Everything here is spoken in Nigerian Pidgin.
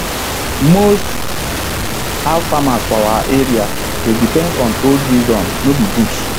most herbal farms for our area dey depend on old wisdom no be books